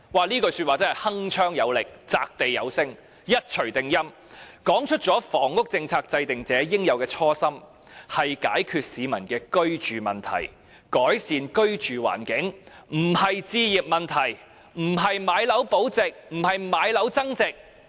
這句說話真是鏗鏘有力、擲地有聲、一錘定音，說出了房屋政策制訂者應有的初心，就是解決市民的居住問題、改善居住環境，不是置業問題、不是買樓保值、不是買樓增值。